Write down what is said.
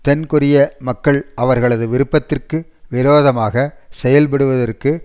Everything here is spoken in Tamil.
தென் கொரிய மக்கள் அவர்களது விருப்பத்திற்கு விரோதமாக செயல் படுவதற்கு